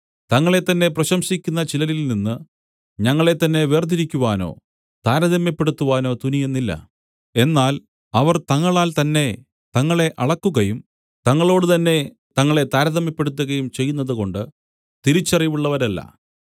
തങ്ങളെത്തന്നെ പ്രശംസിക്കുന്ന ചിലരിൽനിന്ന് ഞങ്ങളെത്തന്നെ വേർതിരിക്കുവാനോ താരതമ്യപ്പെടുത്തുവാനോ തുനിയുന്നില്ല എന്നാൽ അവർ തങ്ങളാൽ തന്നെ തങ്ങളെ അളക്കുകയും തങ്ങളോട് തന്നെ തങ്ങളെ താരതമ്യപ്പെടുത്തുകയും ചെയ്യുന്നതുകൊണ്ട് തിരിച്ചറിവുള്ളവരല്ല